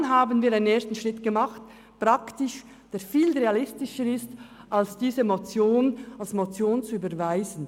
Dann haben wir einen ersten Schritt gemacht, der viel realistischer ist, als diese Motion als Motion zu überweisen.